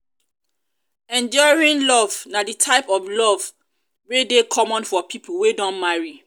enduring enduring love na di type of love wey de common for pipo wey don marry